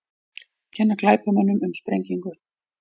Kenna glæpamönnum um sprengingu